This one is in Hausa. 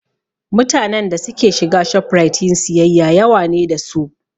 Mutanen da suke shiga Shoprite yin siyayya yawa ne da su